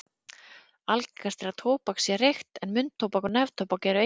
algengast er að tóbak sé reykt en munntóbak og neftóbak eru einnig þekkt